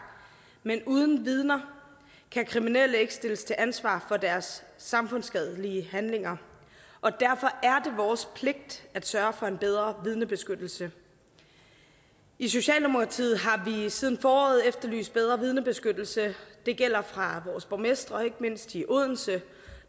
men uden vidner kan kriminelle ikke stilles til ansvar for deres samfundsskadelige handlinger og derfor er det vores pligt at sørge for en bedre vidnebeskyttelse i socialdemokratiet har vi siden foråret efterlyst bedre vidnebeskyttelse det gælder fra vores borgmestre ikke mindst i odense